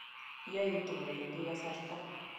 Yaitu kowendi kasarta